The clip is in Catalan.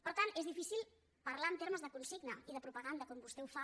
per tant és difícil parlar en termes de consigna i de propaganda com vostè ho fa